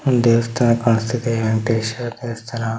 ಒಂದು ದೇವಸ್ಥಾನ ಕಾಣಿಸ್ತಾಯಿದೆ ಪೇಶ್ವರ್ ದೇವತಸ್ಥನ .